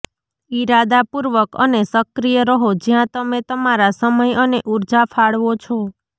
ઇરાદાપૂર્વક અને સક્રિય રહો જ્યાં તમે તમારા સમય અને ઊર્જા ફાળવો છો